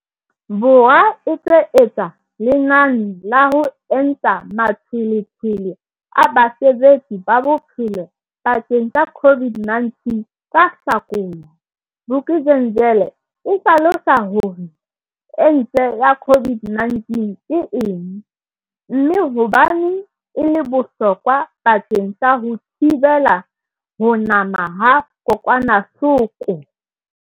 Bo rwa e tlo etsa lenane la ho enta matshwele tshwele a basebetsi ba bophelo bakeng sa COVID-19 ka Hlakola, Vuk'uzenzele e hlalosa hore ente ya COVID-19 ke eng, mme hobaneng e le bohlokwa bakeng sa ho thibela ho nama ha kokwanahloko.